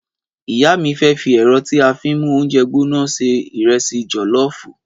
Ìyá mi fẹ fi èrò tí a fín mú oúnjẹ gbóná ṣe ìrẹsì jolofu